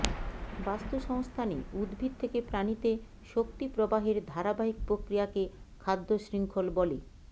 বাস্তুসংস্থানে উদ্ভিদ থেকে প্রাণীতে শক্তি প্রবাহের ধারাবাহিক প্রক্রিয়াকে খাদ্যশৃঙ্খল বলে